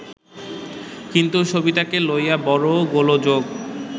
কিন্তু সবিতাকে লইয়া বড় গোলযোগ